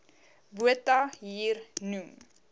botha hier noem